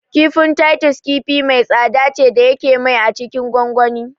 Kifin Titus kifi mai tsada ce da yake mai a cikin gongoni